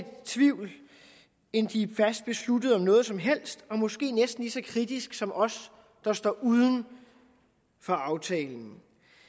tvivl end de fast besluttet på noget som helst og måske næsten lige så kritiske som os der står uden for aftalen